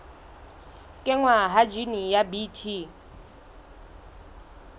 kenngwa ha jine ya bt